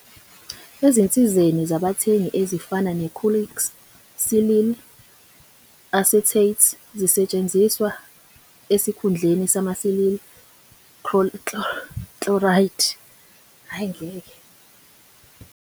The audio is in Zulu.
Ezinsizeni zabathengi ezifana ne-caulks silyl acetates zisetshenziswa esikhundleni sama-silyl chloride. Hhayi ngeke.